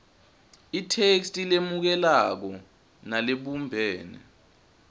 itheksthi lemukelekako nalebumbene